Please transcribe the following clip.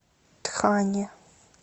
тхане